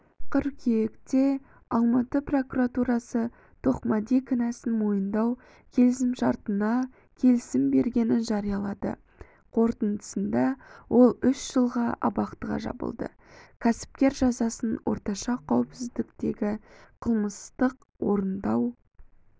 қыркүйекте алматы прокуратурасы тоқмәди кінәсін мойындау келісімшартына келісім бергенін жариялады қорытындысында ол үш жылға абақтыға жабылды кәсіпкер жазасын орташа қауіпсіздіктегі қылмыстық-орындау